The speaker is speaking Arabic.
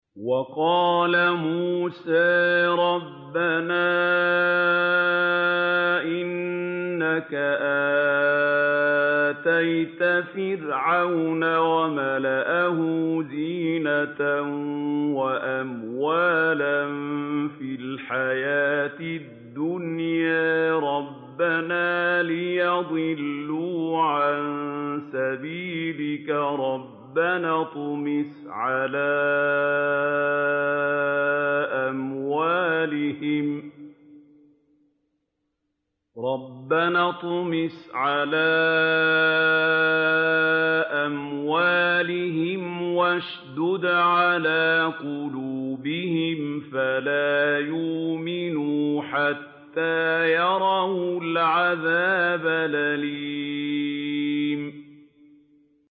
وَقَالَ مُوسَىٰ رَبَّنَا إِنَّكَ آتَيْتَ فِرْعَوْنَ وَمَلَأَهُ زِينَةً وَأَمْوَالًا فِي الْحَيَاةِ الدُّنْيَا رَبَّنَا لِيُضِلُّوا عَن سَبِيلِكَ ۖ رَبَّنَا اطْمِسْ عَلَىٰ أَمْوَالِهِمْ وَاشْدُدْ عَلَىٰ قُلُوبِهِمْ فَلَا يُؤْمِنُوا حَتَّىٰ يَرَوُا الْعَذَابَ الْأَلِيمَ